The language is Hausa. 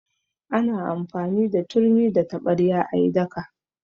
Ana amfani da turmi da taɓarya a yi daka.